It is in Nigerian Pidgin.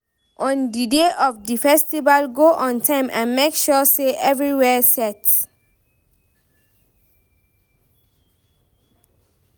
On di day of di festival go on time and make sure say everywhere set